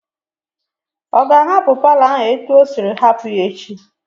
Ọ ga-ahapụ paalọ ahụ etu o siri hapụ ya echi?